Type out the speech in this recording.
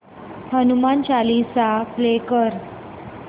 Hanuman Chalisa play कर